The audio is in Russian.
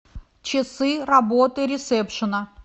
часы работы ресепшена